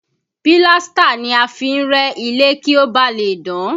Pílástà ni a fi ń rẹ́ ilé kí ó ba lè dán